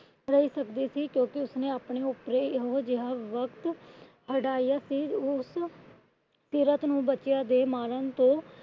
ਰਹੀ ਕਰਦੀ ਸੀ। ਕਿਉਂਕਿ ਉਸਨੇ ਆਪਣੇ ਉੱਪਰ ਏਹੋ ਜਿਹਾ ਵਕਤ ਹੰਢਾਈਏ ਸੀ। ਉਹ ਉਸ ਸੀਰਤ ਨੂੰ ਬੱਚਿਆਂ ਤੇ ਮਾਰਨ ਤੇ